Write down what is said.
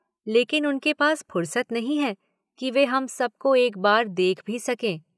लेकिन उन के पास फुर्सत नहीं है कि वे हम सबको एक बार देख भी सकें।